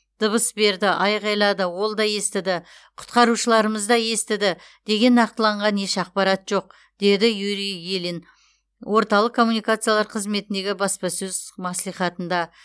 дыбыс берді айқайлады ол да естіді құтқарушыларымыз да естіді деген нақтыланған еш ақпарат жоқ деді юрий ильин орталық коммуникациялар қызметіндегі баспасөз мәслихатында